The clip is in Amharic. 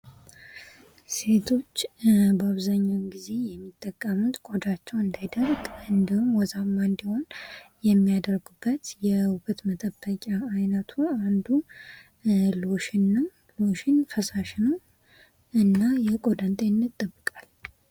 ሴቶች በአብዛኛውን ጊዜ የሚጠቀሙበት ቆዳቸው እንዳይደርቅ እንዲሁም ወዛማ እንዲሆን የሚያደርጉበት የውበት መጠበቂያ አይነት አንዱ ሎሽን ነው ሎሽን ፈሳሽ ነው እና የቆዳን ጤንነት ይጠብቃል ::